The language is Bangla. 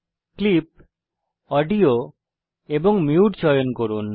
ক্লিপ অডিও এবং মিউট চয়ন করুন